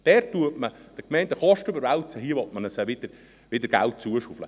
Dort werden Kosten an die Gemeinden überwälzt, während man ihnen hier wieder Geld zuschaufelt.